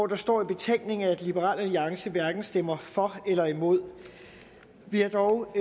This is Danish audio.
der står i betænkningen at liberal alliance hverken stemmer for eller imod vi har dog